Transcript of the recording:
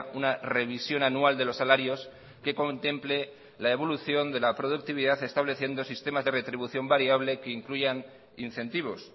una revisión anual de los salarios que contemple la evolución de la productividad estableciendo sistemas de retribución variable que incluyan incentivos